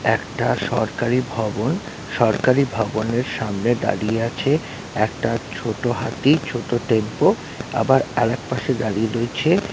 একটা সরকারি ভবন সরকারি ভবনের সামনে দাঁড়িয়ে আছে একটা ছোট হাতি ছোট টেম্পু আবার আর এক পাশে দাঁড়িয়ে রয়েছে --